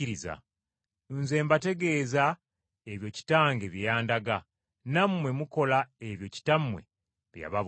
Nze mbategeeza ebyo Kitange bye yandaga, nammwe mukola ebyo kitammwe bye yababuulira.”